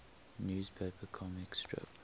newspaper comic strip